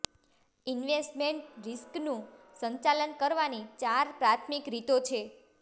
investment રિસ્કનું સંચાલન કરવાની ચાર પ્રાથમિક રીતો છે